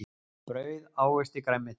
Brauð ávexti grænmeti.